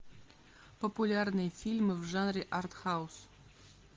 популярные фильмы в жанре артхаус